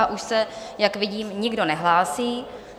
A už se, jak vidím, nikdo nehlásí.